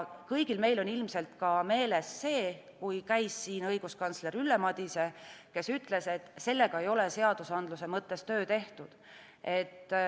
Kõigil meil on ilmselt meeles see, kui siin käis õiguskantsler Ülle Madise, kes ütles, et sellega ei ole seadusandluse mõttes töö tehtud.